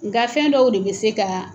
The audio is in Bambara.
Nka fɛn dɔw de bɛ se ka